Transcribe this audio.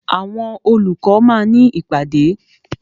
Àwọn olùkọ́ máa ní ìpàdé.